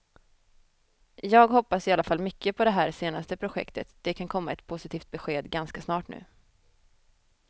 Jag hoppas i alla fall mycket på det här senaste projektet, det kan komma ett positivt besked ganska snart nu.